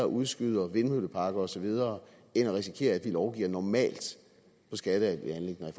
udskyde vindmølleparker og så videre end risikere at de lovgiver normalt i skatteanliggender i